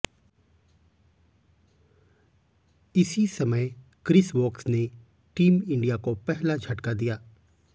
इसी समय Chris Woakes ने टीम इंडिया को पहला झटका दिया